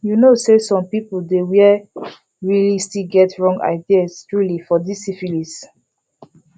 you know say some people dey where realy still get wrong ideas truely for this syphilis